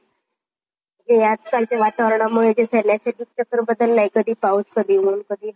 हे आजकालच्या वातावरणामुळे चक्र बदललाय कधी पाऊस, कधी ऊन